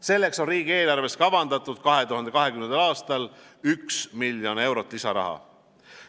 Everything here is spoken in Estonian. Selleks on riigieelarves kavandatud 2020. aastal 1 miljon eurot lisaraha.